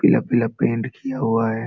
पीला-पीला पेंट किया हुआ है।